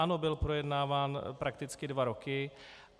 Ano, byl projednáván prakticky dva roky.